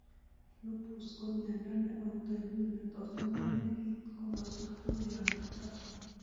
Lupus ko miondo ne outoimmune netot konam nekit komoswek tugul ab borto